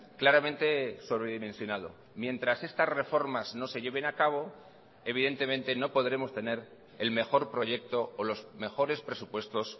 claramente sobredimensionado mientras estas reformas no se lleven a cabo evidentemente no podremos tener el mejor proyecto o los mejores presupuestos